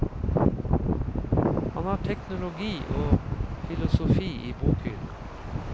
Han har teknologi og filosofi i bokhyllen.